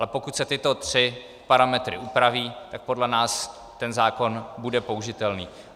Ale pokud se tyto tři parametry upraví, tak podle nás ten zákon bude použitelný.